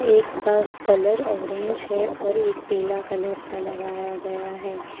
एक का colour orange है और एक पीला कलर का लगाया गया है।